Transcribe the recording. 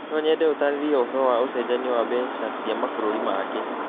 No nyende ũtaarĩrie ũhoro wa ũcenjania wa mbeca cia mabũrũri mangĩ